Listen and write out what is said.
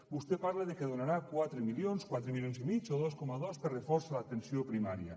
vostè parla que donarà quatre milions quatre milions i mig o dos coma dos per a reforç a l’atenció primària